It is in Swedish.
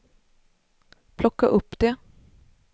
plocka upp det